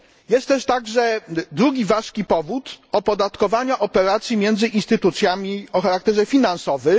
Istnieje także drugi ważki powód opodatkowania operacji między instytucjami o charakterze finansowym.